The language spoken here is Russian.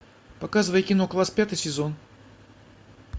показывай кино класс пятый сезон